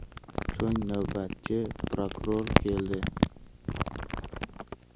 So‘ng navbatchi prokuror keldi.